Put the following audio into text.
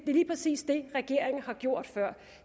er lige præcis det regeringen har gjort før